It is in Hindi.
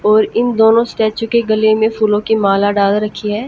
और इन दोनों स्टैचू के गले में फूलों की माला डाल रखी है।